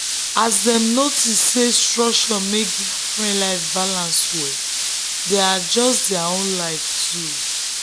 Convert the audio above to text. as dem notice say structure make their friend life balance well dem adjust their own way too.